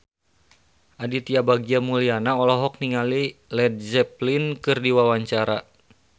Aditya Bagja Mulyana olohok ningali Led Zeppelin keur diwawancara